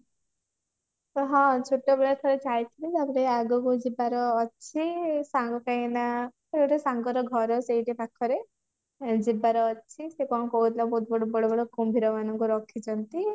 ହଁ ଛୋଟ ବେଳେ ଥରେ ଯାଇଥିଲି ତାପରେ ଆଗକୁ ଯିବାର ଅଛି ସାଙ୍ଗ କାଇଁକି ନା ଗୋଟେ ସାଙ୍ଗର ଘର ସେଇଠି ପାଖରେ ସେ କଣ କହୁଥିଲା ବହୁତ ବଡ ବଡ ବଡ କୁମ୍ଭୀର ମାନଙ୍କୁ ରଖିଛନ୍ତି